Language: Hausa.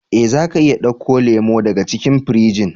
Eh, za ka iya dauko lemu daga cikin firijin.